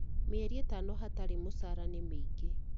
Mĩeri ĩtano hatarĩ mũcara nĩ mĩingĩ